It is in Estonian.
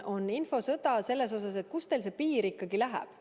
Puhkeb infosõda küsimuses, kust teil see piir ikkagi läheb.